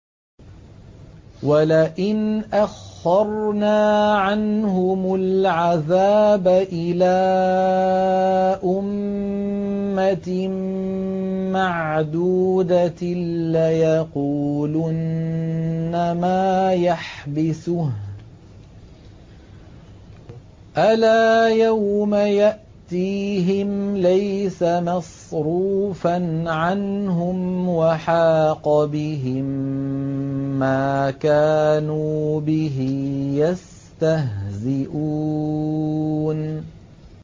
وَلَئِنْ أَخَّرْنَا عَنْهُمُ الْعَذَابَ إِلَىٰ أُمَّةٍ مَّعْدُودَةٍ لَّيَقُولُنَّ مَا يَحْبِسُهُ ۗ أَلَا يَوْمَ يَأْتِيهِمْ لَيْسَ مَصْرُوفًا عَنْهُمْ وَحَاقَ بِهِم مَّا كَانُوا بِهِ يَسْتَهْزِئُونَ